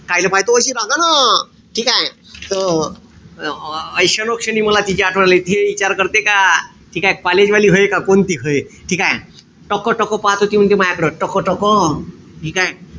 कायले पाहते व अशी रागानं. ठीकेय? त आ क्षणोक्षणी मला तिची आठवण येते. ते इचार करते का ठीकेय? college वाली व्हय का कोणती व्हय. ठीकेय? टकटक पाहत होती म्हणते म्याकड. टकटक. ठीकेय?